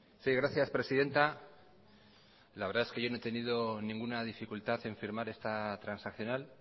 sí gracias presidenta la verdad es que yo no he tenido ninguna dificultad en firmar esta transaccional